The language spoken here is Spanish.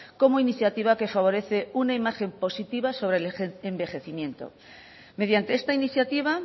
como iniciativa que favorece una imagen positiva sobre el envejecimiento mediante esta iniciativa